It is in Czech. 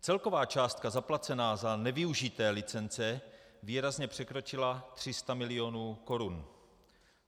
Celková částka zaplacená za nevyužité licence výrazně překročila 300 mil. korun.